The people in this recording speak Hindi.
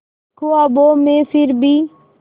ख्वाबों में फिर भी